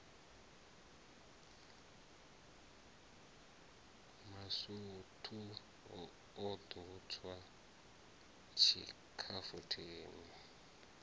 masutu o ḓo tswa tshikhafuthini